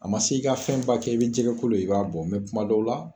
A ma se i ka fɛn ba kɛ i bɛ jɛgɛ kolo ye i b'a bɔ mɛ kuma dɔw la